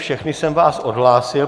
Všechny jsem vás odhlásil.